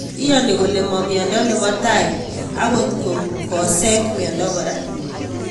Iyoni kole mamnyando nebo tai, akot ko kosek mnyando kora.